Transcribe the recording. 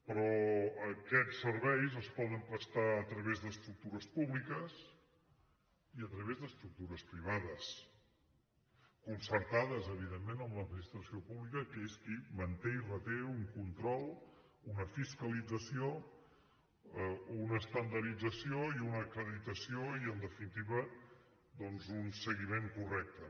però aquests serveis es poden prestar a través d’estructures públiques i a través d’estructures privades concertades evidentment amb l’administració pública que és qui manté i reté un control una fiscalització una estandardització i una acreditació i en definitiva doncs un seguiment correcte